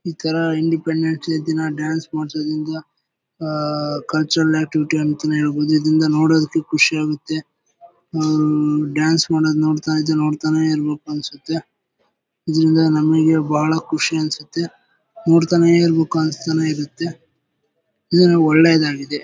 ಈ ತರ independence day ದಿನ ಡಾನ್ಸ್ ಮಾಡಿಸೋದ್ರಿಂದ ಹಾ ಕಲ್ಚರಲ್ ಆಕ್ಟಿವಿಟಿ ಅಂತಾನೆ ಹೇಳ್ಬಹುದು. ಇದರಿಂದ ನೋಡೋದಕ್ಕೆ ಖುಷಿಯಾಗುತ್ತೆ. ಹ್ಮ್ ಡಾನ್ಸ್ ಮಾಡೋದು ನೋಡ್ತಾ ಇದ್ರೆ ನೋಡ್ತಾನೆ ಇರ್ಬೇಕು ಅನ್ಸುತ್ತೆ. ಇದಾಸರಿಂದ ನಮಗೆ ಬಹಳ ಖುಷಿ ಅನಿಸುತ್ತೆ ನೋಡ್ತಾನೆ ಇರ್ಬೇಕು ಅನ್ಸ್ತಾನೆ ಇರುತ್ತೆ ಇದ್ರಲ್ಲಿ ಒಳ್ಳೇದಾಗಿದೆ.